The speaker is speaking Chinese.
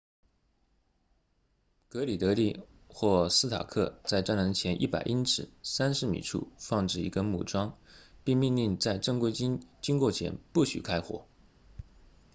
格里德利 gridley 或斯塔克 stark 在栅栏前100英尺30米处放置一根木桩并命令在正规军经过前不许开火